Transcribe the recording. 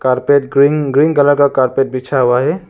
Carpet green green colour का carpet बिछा हुआ है।